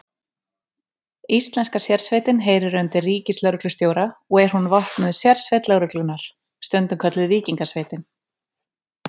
Íslenska sérsveitin heyrir undir ríkislögreglustjóra og er hún vopnuð sérsveit lögreglunnar, stundum kölluð Víkingasveitin.